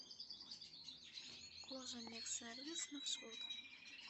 кожамехсервис маршрут